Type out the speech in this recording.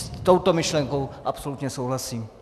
S touto myšlenkou absolutně souhlasím.